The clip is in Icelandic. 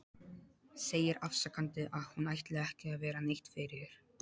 Segir afsakandi að hún ætli ekki að vera neitt fyrir.